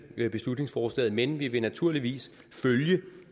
beslutningsforslaget men vi vil naturligvis følge